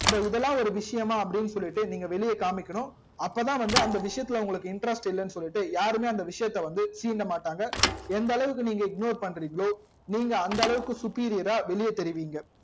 so இதுலா ஒரு விஷயமா அப்டின்னு சொல்லிட்டு நீங்க வெளிய காமிக்கணும் அப்போ தா வந்து அந்த விஷயத்துல உங்களுக்கு வந்து interest இல்லன்னு சொல்லிட்டு யாருமே அந்த விஷயத்த வந்து சீண்ட மாட்டாங்க எந்தளவுக்கு நீங்க ignore பன்றிங்கலோ நீங்க அந்த அளவுக்கு superior ரா வெளிய தெரியிவிங்க